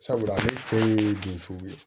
Sabula a cɛ ye dusu ye